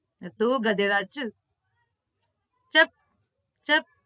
તું ગધેડા ચુપ ચુપ ચુપ